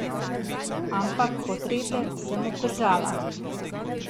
Ampak portrete sem obdržala.